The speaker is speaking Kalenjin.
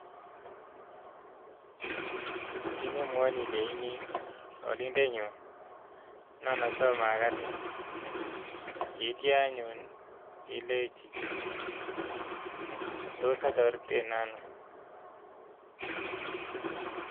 Kit nemwoini ileini alindenyun nan asom agatin yeityanyun ilenji tos atoretiten ano ?